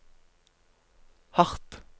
hardt